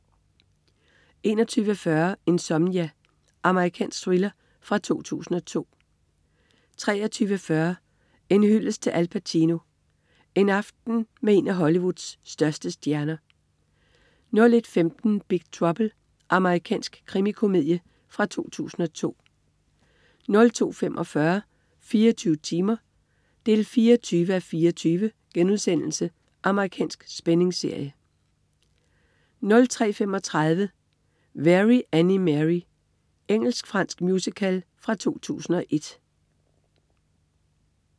21.40 Insomnia. Amerikansk thriller fra 2002 23.40 En hyldest til Al Pacino. En aften med en af Hollywoods største stjerner 01.15 Big Trouble. Amerikansk krimikomedie fra 2002 02.45 24 timer 24:24.* Amerikansk spændingsserie 03.35 Very Annie Mary. Engelsk-fransk musical fra 2001